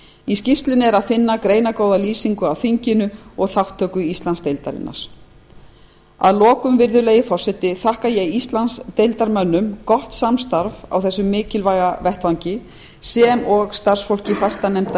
í skýrslunni er að finna greinargóða lýsingu á þinginu og þátttöku íslandsdeildar ég vil að lokum virðulegi forseti þakka íslandsdeildarmönnum gott samstarf á þessum mikilvæga vettvangi sem og starfsfólki fastanefndar